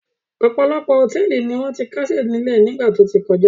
Ọ̀pọ̀ àwọn hòtẹ́ẹ́lì ni wọ́n ti kásẹ̀ nílẹ̀ nígbà tó ti kọjá.